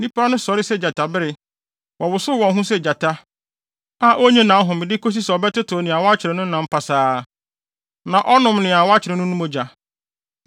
Nnipa no sɔre sɛ gyatabere. Wɔwosow wɔn ho sɛ gyata a onnye nʼahome de kosi sɛ ɔbɛtetew nea wakyere no no nam pasaa na ɔnom nea wakyere no no mogya.”